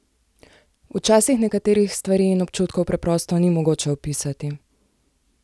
Včasih nekaterih stvari in občutkov preprosto ni mogoče opisati!